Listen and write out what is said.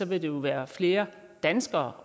vil der være flere danskere